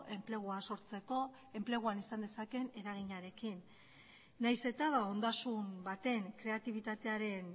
enplegua sortzeko enpleguan izan dezaken eraginarekin nahiz eta ondasun baten kreatibitatearen